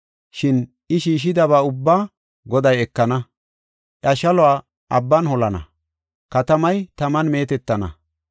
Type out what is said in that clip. Shin I shiishidaba ubbaa Goday ekana; iya shaluwa abban holana; katamay taman meetetana.